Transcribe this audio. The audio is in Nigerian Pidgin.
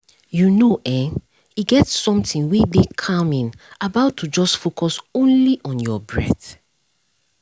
you know e get something wey dey make you relax if you just focus on your breath